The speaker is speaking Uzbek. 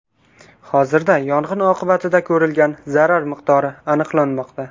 Hozirda yong‘in oqibatida ko‘rilgan zarar miqdori aniqlanmoqda.